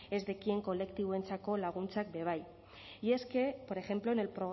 ez dekien kolektiboentzako laguntzak be bai y es que por ejemplo en el